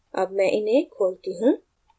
अब मैं इन्हें खोलती हूँ